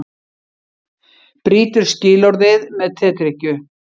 Brýtur skilorðið með tedrykkju